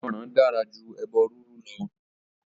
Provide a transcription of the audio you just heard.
Ìgbọ́ràn dára jú ẹbọ rírú lọ.